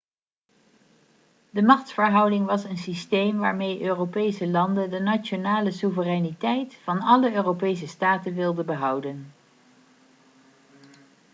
de machtsverhouding was een systeem waarmee europese landen de nationale soevereiniteit van alle europese staten wilden behouden